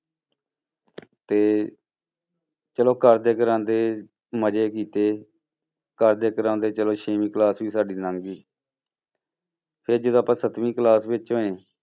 ਤੇ ਚਲੋ ਕਰਦੇ ਕਰਾਉਂਦੇ ਮਜ਼ੇ ਕੀਤੇ, ਕਰਦੇ ਕਰਾਉਂਦੇ ਚਲੋ ਛੇਵੀਂ class ਵੀ ਸਾਡੀ ਲੰਘ ਗਈ ਫਿਰ ਜਦੋਂ ਆਪਾਂ ਸੱਤਵੀਂ class ਵਿੱਚ ਹੋਏ,